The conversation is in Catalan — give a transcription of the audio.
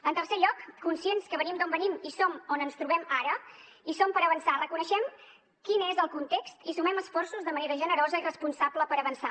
en tercer lloc conscients que venim d’on venim i som on ens trobem ara hi som per avançar reconeixem quin és el context i sumem esforços de manera generosa i responsable per avançar